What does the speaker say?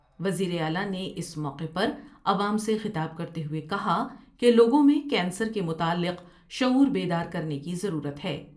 وزیر اعلی نے اس موقع پر عوام سے خطاب کرتے ہوۓ کہا کہ لوگوں میں کینسر کے متعلق شعور بیدار کرنے کی ضرورت ہے۔